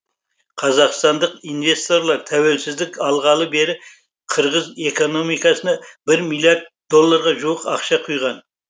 қазақстандық инвесторлар тәуелсіздік алғалы бері қырғыз экономикасына бір миллиард долларға жуық ақша құйған